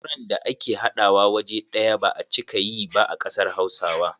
Auren da ake haɗawa waje ɗaya ba a cika yi ba a kasar hausawa.